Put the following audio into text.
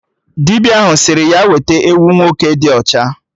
Dibịa ahụ sịrị ya weta ewu nwoke dị ọcha